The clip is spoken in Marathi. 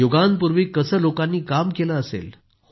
युगांपूर्वी कसं लोकांनी काम केलं असेल